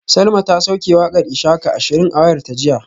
Salma ta sauke wakar ishaka ashirin a wayarta jiya